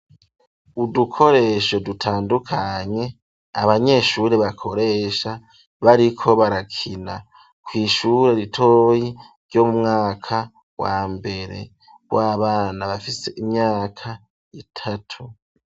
Udukoresho dutandukanye abanyeshuri bakoresha bariko barakina kw'ishure ritoyi ryo mu mwaka wa mbere w'abana bafise imyaka itatu.